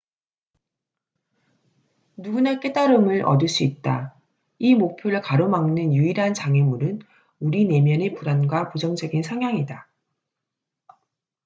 누구나 깨달음을 얻을 수 있다 이 목표를 가로막는 유일한 장애물은 우리 내면의 불안과 부정적인 성향이다